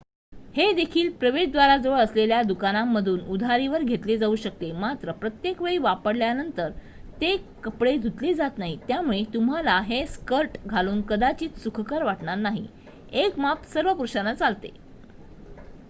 हेदेखील प्रवेश द्वाराजवळ असलेल्या दुकानामधून उधारीवर घेतले जाऊ शकते मात्र प्रत्येकवेळी वापरल्यानंतर ते कपडे धुतले जात नाहीत त्यामुळे तुम्हाला हे स्कर्ट घालून कदाचित सुखकर वाटणार नाही एक माप सर्व पुरुषांना चालते